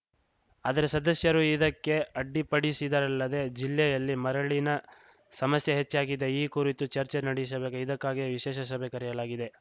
ಆದರೆ ಸದಸ್ಯರು ಇದಕ್ಕೆ ಅಡ್ಡಿಪಡಿಸಿದರಲ್ಲದೆ ಜಿಲ್ಲೆಯಲ್ಲಿ ಮರಳಿನ ಸಮಸ್ಯೆ ಹೆಚ್ಚಾಗಿದೆ ಈ ಕುರಿತು ಚರ್ಚೆ ನಡೆಸಬೇಕು ಇದಕ್ಕಾಗಿಯೇ ವಿಶೇಷ ಸಭೆ ಕರೆಯಲಾಗಿದೆ